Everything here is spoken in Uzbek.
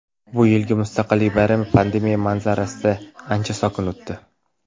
Bu yilgi Mustaqillik bayrami pandemiya manzarasida ancha sokin o‘tdi.